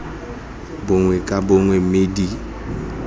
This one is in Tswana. bongwe ka bongwe mme di